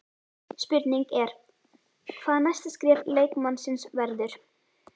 Spurning er hvað næsta skref leikmannsins verður?